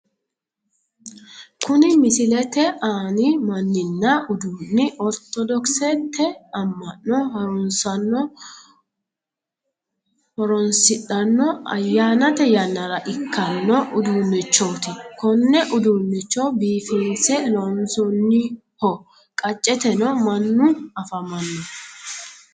Kuni misilete anni manninna uduunni ortodoksete amma'no haruunsaano horoonsidhanno ayyaannate yannara ikkanno uduunnichooti konne uduunnicho biifinse loonsoonniho qacceteno mannu afamanno.